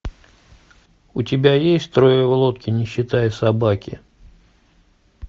у тебя есть трое в лодке не считая собаки